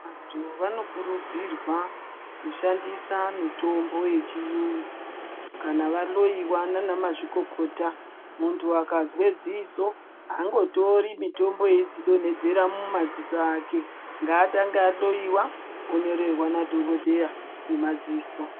Vantu vanokurudzirwa kushandisa mitombo yechiyungu kana vahloyiwa naana mazvikokota. Muntu akazwe dziso haangotori mitombo eidzidonhedzera mumadziso ake, ngaatange ahloyiwa onyorerwa nadhogodheya wemadziso.